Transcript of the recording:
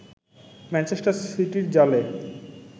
Manchester সিটির জালে